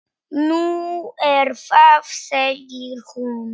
Nú, er það segir hún.